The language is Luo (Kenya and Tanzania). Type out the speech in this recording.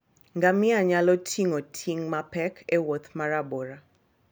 Ngamia nyalo ting'o ting' mapek e wuoth ma rabora.